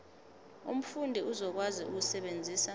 umfundi uzokwazi ukusebenzisa